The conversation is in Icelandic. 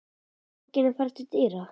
Ætlar enginn að fara til dyra?